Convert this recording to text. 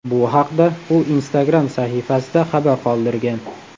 Bu haqda u Instagram sahifasida xabar qoldirgan .